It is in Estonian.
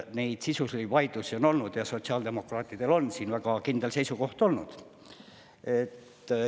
Neid sisulisi vaidlusi on olnud ja sotsiaaldemokraatidel on siin väga kindel seisukoht olnud.